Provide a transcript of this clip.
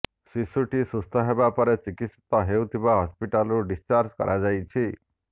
ଶିଶୁଟି ସୁସ୍ଥ ହେବାପରେ ଚିକିତ୍ସିତ ହେଉଥିବା ହସ୍ପିଟାଲରୁ ଡିସଚାର୍ଜ କରାଯାଇଛି